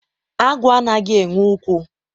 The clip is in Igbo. agwọ anaghị enwe ụkwụ